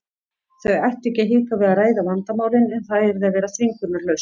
Þau ættu ekki að hika við að ræða vandamálin en það yrði að vera þvingunarlaust.